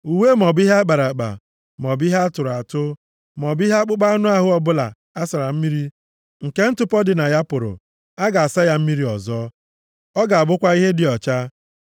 Uwe maọbụ ihe a kpara akpa, maọbụ ihe a tụrụ atụ, maọbụ ihe akpụkpọ anụ ọbụla a sara mmiri nke ntụpọ dị na ya pụrụ, a ga-asa ya mmiri ọzọ. Ọ ga-abụkwa ihe dị ọcha.”